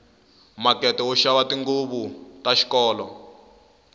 makete wo xava tinguvu la xikolo